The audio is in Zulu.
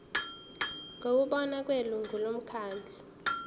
ngokubona kwelungu lomkhandlu